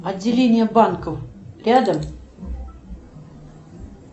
отделение банка рядом